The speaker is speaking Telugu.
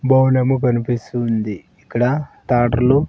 బోర్డ్ ఏమో కనిపిస్తుంది ఇక్కడ ట్రాక్టర్లు .